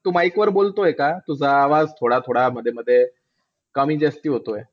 तू bike वर बोलतोय का? तुझा आवाज थोडा थोडा मध्ये मध्ये कमी जास्ती होतोय.